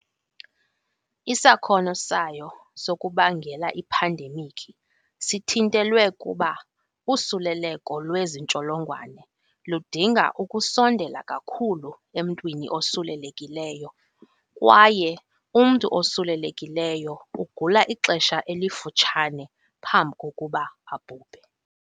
Isakhono sayo sokubangela iphandemikhi sithintelwe kuba usuleleko lwezi ntsholongwane ludinga ukusondela kakhulu emntwini osulelekileyo kwaye umntu osulelekileyo ugula ixesha elifutshane phambi kokuba abhubhe.